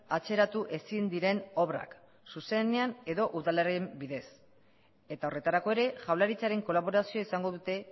atzeratu ezin diren obrak zuzenean edo udalaren bidez eta horretarako ere jaurlaritzaren kolaborazioa izango dute